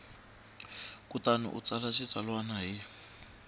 kutani u tsala xitsalwana hi